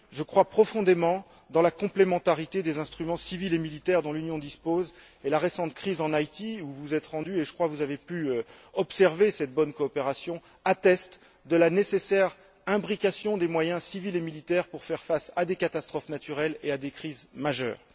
Je crois profondément en la complémentarité des instruments civils et militaires dont l'Union dispose et la récente crise en Haïti, où vous vous êtes rendue et je crois que vous avez pu observer cette bonne coopération atteste de la nécessaire imbrication des moyens civils et militaires pour faire face à des catastrophes naturelles et à des crises majeures.